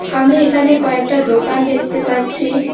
আমি এখানে কয়েকটা দোকান দেখতে পাচ্ছি।